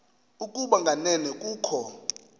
ukuba kanene kukho